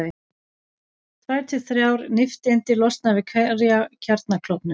Tvær til þrjár nifteindir losna við hverja kjarnaklofnun.